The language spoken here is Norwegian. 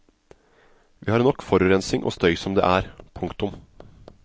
Vi har nok forurensning og støy som det er. punktum